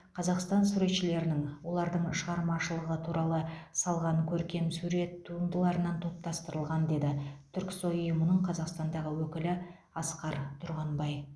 қазақстан суретшілерінің олардың шығармашылығы туралы салған көркемсурет туындыларынан топтастырылған деді түрксой ұйымының қазақстандағы өкілі асқар тұрғанбай